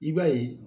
I b'a ye